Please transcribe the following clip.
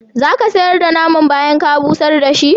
Za ka sayar da naman bayan ka busar da shi?